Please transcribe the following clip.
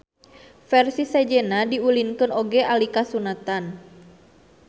Versi sejenna diulinkeun oge alika sunatan.